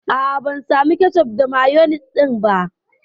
A'a, ban samu kecof da mayonis ɗin ba.